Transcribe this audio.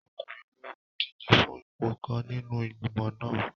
Ọkùnrin ológun n díje fún ipò kan nínú igbimọ̀ náà